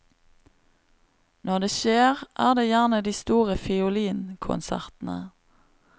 Når det skjer, er det gjerne de store fiolinkonsertene.